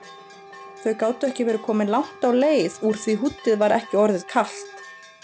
Þau gátu ekki verið komin langt á leið úr því húddið var ekki orðið kalt.